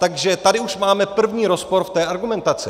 Takže tady už máme první rozpor v té argumentaci.